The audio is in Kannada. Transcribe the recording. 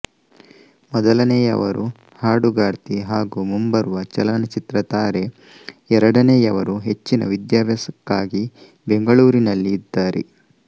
ಮೊದಲನೆಯವರು ಹಾಡುಗಾರ್ತಿ ಹಾಗೂ ಮುಂಬರುವ ಚಲನಚಿತ್ರ ತಾರೆ ಎರಡನೆಯವರು ಹೆಚ್ಚಿನ ವಿದ್ಯಾಭ್ಯಾಸಕ್ಕಾಗಿ ಬೆಂಗಳೂರಿನಲ್ಲಿ ಇದ್ದಾರೆ